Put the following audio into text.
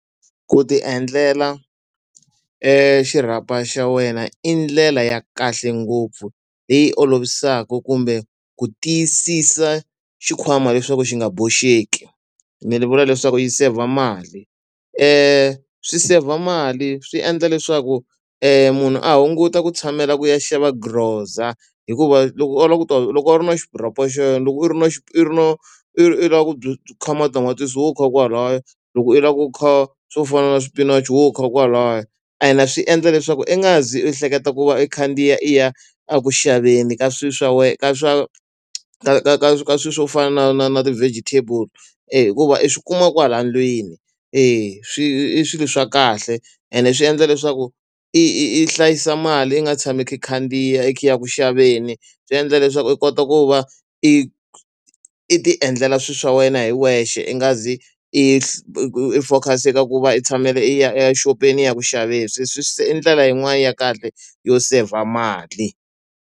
Ku ti endlela xirhapa xa wena i ndlela ya kahle ngopfu leyi olovisaka kumbe ku tiyisisa xikhwama leswaku xi nga boxeki, ni ri vula leswaku yi seyivha mali. Swi seyivha mali, swi endla leswaku munhu a hunguta ku tshamela ku ya xava grocer. Hikuva loko a lava ku ta loko a ri na xirhapa xa yena loko u ri na i ri na i i lava ku kha matamatisi wo kha kwalaya, loko u lava ku kha swo fana na swipinachi wo kha kwalaya. Ene swi endla leswaku i nga zi u hleketa ku va i khandziya i ya eku xaveni ka swilo swa wena ka swa ka ka ka ka swilo swo fana na na na ti-vegetable. E hikuva i swi kuma kwala ndlwini, e swi i swilo swa kahle ene swi endla leswaku i i i hlayisa mali i nga tshami khandziya i ya ku xaveni, swi endla leswaku i kota ku va i i ti endlela swilo swa wena hi wexe i nga zi i i focus-a ka ku va i tshamela i ya i ya exopeni i ya ku xaveni. I ndlela yin'wani ya kahle yo seyivha a mali.